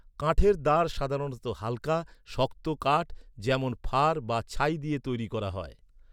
কাঠের দাঁড় সাধারণত হালকা, শক্ত কাঠ, যেমন ফার বা ছাই দিয়ে তৈরি করা হয়।